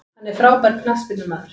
Hann er frábær knattspyrnumaður.